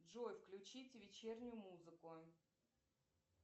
джой включить вечернюю музыку